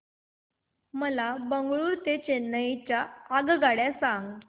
मला बंगळुरू ते चेन्नई च्या आगगाड्या सांगा